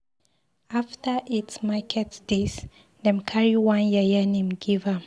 After eight market days, dem carry one yeye name give am.